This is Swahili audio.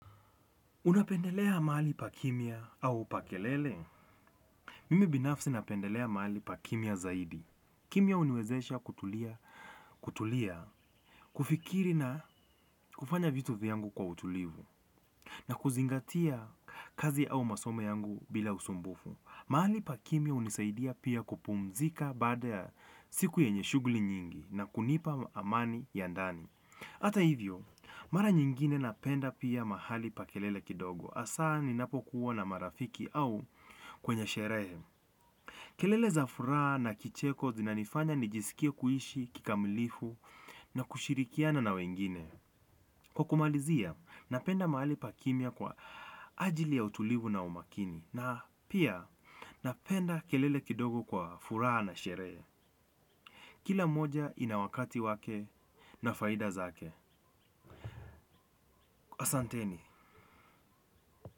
Unapendelea mahali pa kimya au pa kelele? Mimi binafsi napendelea mahali pa kimya zaidi. Kimya huniwezesha kutulia, kufikiri na kufanya vitu vyangu kwa utulivu, na kuzingatia kazi au masomo yangu bila usumbufu. Mahali pa kimya hunisaidia pia kupumzika bada siku yenye shughuli nyingi na kunipa amani ya ndani. Ata hivyo, mara nyingine napenda pia mahali pa kelele kidogo. Hasa ni napo kuwa na marafiki au kwenye sherehe kelele za furaha na kicheko zinanifanya nijisikie kuishi kikamilifu na kushirikiana na wengine. Kwa kumalizia, napenda mahali pa kimya kwa ajili ya utulivu na umakini. Na pia napenda kelele kidogo kwa furaha na sherehe. Kila moja inawakati wake na faida zake. Asanteni.